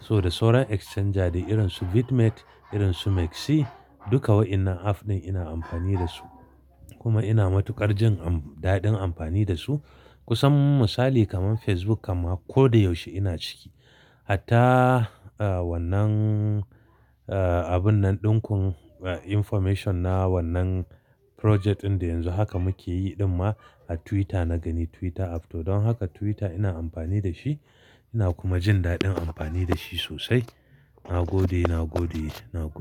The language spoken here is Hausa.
So da sorai exchanger irin su Bitmex, irin su MEXC, duka waɗannan app ɗin ina amfani da su. Kuma ina matuƙar jin amf- daɗin amfani da su. Kusan misali kamar Facebook kamar ko da yaushe ina ciki. Hatta,, wannan, abun nan ɗin kun, eh, information na wannan project ɗin da yanzu haka muke yi ɗin ma a Twitter na gani Twitter app. To don haka Twitter ina amfani da shi, ina kuma jin daɗin amfani da shi sosai. Na gode, na gode, na gode.